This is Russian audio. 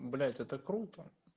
блять это круто